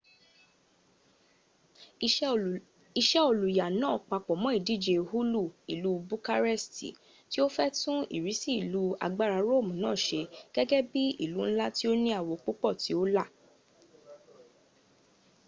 ise oluya naa papo mo idije hoolu ilu bukaresti ti o fe tun irisi ilu agbara roomu naa se gege bii ilu nla ti o ni awo pupo ti o la